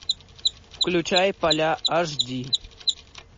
включай поля аш ди